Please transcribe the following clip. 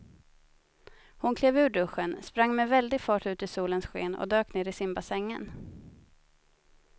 Hon klev ur duschen, sprang med väldig fart ut i solens sken och dök ner i simbassängen.